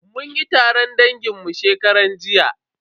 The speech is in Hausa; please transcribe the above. Mun yi taron dangin mu shekaran jiya.